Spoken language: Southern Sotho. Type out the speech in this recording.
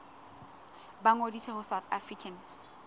ba ngodise ho south african